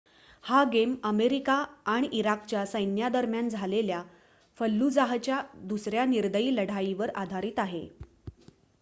हा game America आणि इराकच्या सैन्यादरम्यान झालेल्या फल्लुजाहच्या दुसऱ्या निर्दयी लढाईवर आधारीत आहे